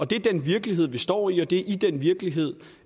det er den virkelighed vi står i og det i den virkelighed